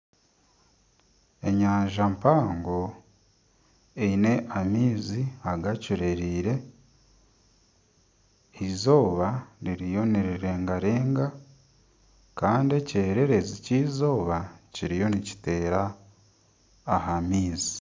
Enyanja mpango eine amaizi agacureire, izooba ririyo niriregarega kandi ekyererezi ky'eizooba kiriyo nikiteera aha maizi.